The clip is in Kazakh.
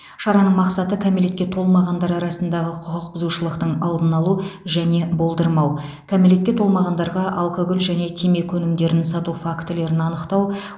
шараның мақсаты кәмелетке толмағандар арасындағы құқық бұзушылықтың алдын алу және болдырмау кәмелетке толмағандарға алкоголь және темекі өнімдерін сату фактілерін анықтау